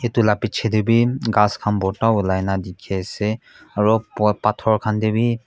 etu lah piche teh bhi ghass khan bhorta ulai na dikhi ase aro pao pathor khan teh bhi--